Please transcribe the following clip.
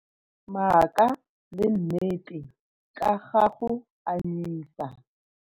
Maaka le nnete ka ga go anyisa.